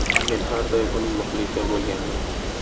Men har doim uning muxlisi bo‘lganman”.